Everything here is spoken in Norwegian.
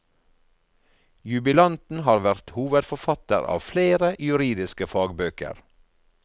Jubilanten har vært hovedforfatter av flere juridiske fagbøker.